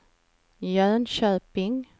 Jönköping